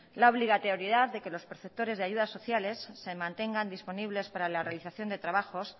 la obligatoriedad de que los perceptores de ayudas sociales se mantengan disponibles para la realización de trabajos